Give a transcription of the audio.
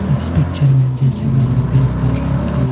इस पिक्चर में जैसे कि हम लोग देख पा रहे हैं कि--